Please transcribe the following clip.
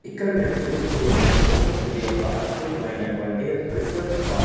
ఇక్కడ నేను చూస్తూ ఉన్నాను ఇది ఒక అద్భుతమైనటువంటి రిసార్ట్ పార్--